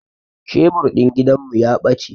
Shebur din gidan mu ya bace